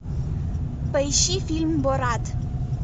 поищи фильм борат